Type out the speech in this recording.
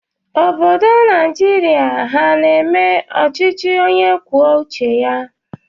Obodo Naịjirịa ha na-eme ọchịchị onye kwuo uche ya.